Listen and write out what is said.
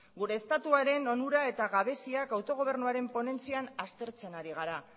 gure estatuaren onurak eta gabeziak autogobernuaren ponentzian aztertzen ari gara